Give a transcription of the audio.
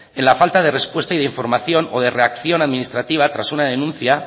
en la falta de respuesta y de información o de reacción administrativa tras una denuncia